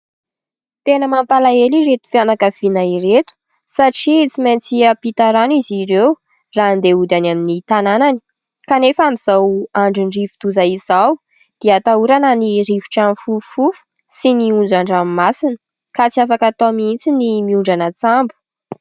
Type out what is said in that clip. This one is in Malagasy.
Tena mampalahelo ireto fianakaviana ireto satria tsy maintsy hiampita rano izy ireo raha andeha hody any amin'ny tanànany ; kanefa amin'izao andron'ny rivo-doza izao dia atahorana ny rivotra mifofofofo sy ny onjan-dranomasina, ka tsy afaka atao mihitsy ny mihondrana an-tsambo.